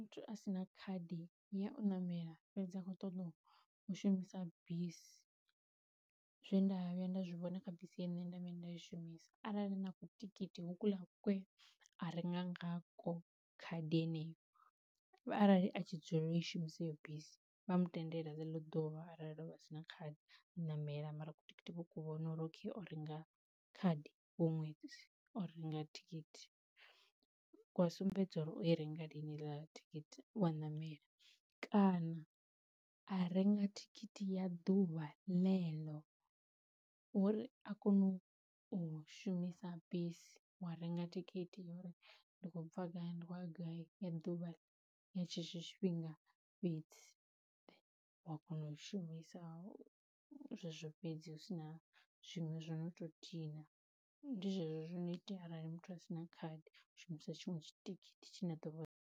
Muthu a si na khadi ya u ṋamela fhedzi a kho ṱoḓa u shumisa bisi, zwe nda vhuya nda zwi vhona kha bisi ine nda vhuya nda i shumisa arali ni na ku tikiti ho ku la kwe a renga ngakwo khadi heneyo, arali a tshi dzulela u i shumisa heyo bisi vha mu tendele ḽeḽo ḓuvha arali o vha a si na khadi a namela mara ku tikiti vho ku vhona uri okay o renga khadi huṅwe o renga thikhithi ku a sumbedza uri o i renga lini thikhithi wa namela, kana a renga thikhithi ya ḓuvha ḽeḽo uri a kone u u shumisa bisi wa renga thikhithi uri ndi khou bva gai ndi kho uya gai ya ḓuvha ya tshetsho tshifhinga fhedzi, wa kona u shumisa zwezwo fhedzi hu si na zwinwe zwo no to dina. Ndi zwezwo zwino itea arali muthu a sina khadi u shumisa tshinwe tshitikiti tshi a ḓo vha .